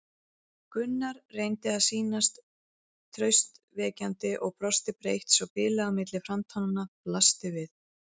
Gunnar reyndi að sýnast traustvekjandi og brosti breitt svo bilið á milli framtannanna blasti við.